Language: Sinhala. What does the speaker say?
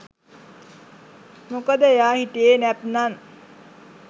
මොකද එයා හිටියේ නැත්නම්